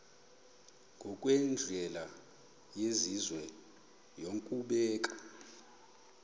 ngokwendlela yesizwe yokubeka